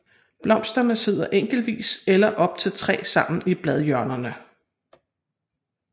Blomsterne sidder enkeltvis eller op til 3 sammen i bladhjørnerne